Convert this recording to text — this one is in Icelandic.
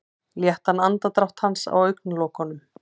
Léttan andardrátt hans á augnalokunum.